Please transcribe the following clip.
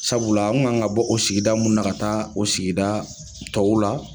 Sabula an kun kan ka bɔ o sigida mun na, ka taa o sigida tɔw la